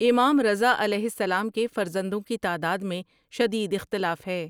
امام رضا علیہ السلام کے فرزندوں کی تعداد میں شدید اختلاف ہے۔